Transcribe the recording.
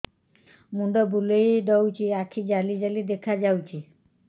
ମୁଣ୍ଡ ବୁଲେଇ ଦଉଚି ଆଖି ଜାଲି ଜାଲି ଦେଖା ଯାଉଚି